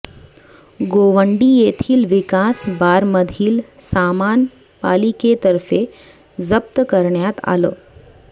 गोवंडी येथील विकास बारमधील सामान पालिकेतर्फे जप्त करण्यात आलं